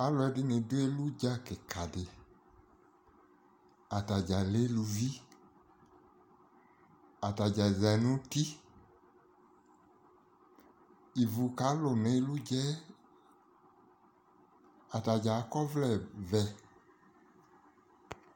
Alʋɛdɩnɩ dʋ elu dza kɩkadɩ Atadzaa lɛ eluvi, atadzaa zã n'uti, ivu kalʋ n'elu dza yɛ, atadzaa ak'ɔvlɛ vɛ